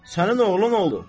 Sənin oğlun oldu.